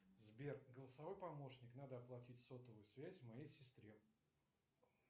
сбер голосовой помощник надо оплатить сотовую связь моей сестре